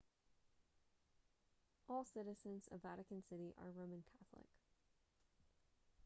all citizens of vatican city are roman catholic